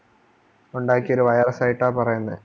ഉണ്ടാക്കിയ ഒരു Virus സായിട്ട് പറയുന്നത്